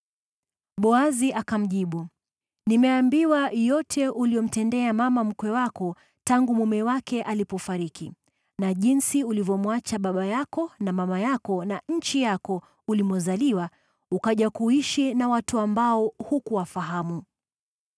Boazi akamjibu, “Nimeambiwa yote uliyomtendea mama mkwe wako tangu mume wako alipofariki, na jinsi ulivyomwacha baba yako na mama yako na nchi yako ulimozaliwa, ukaja kuishi na watu ambao hukuwafahamu awali.